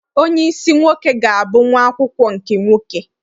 Onyeisi nwoke ga-abụ nwa akwụkwọ nke nwoke.